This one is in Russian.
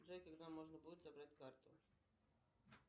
джой когда можно будет забрать карту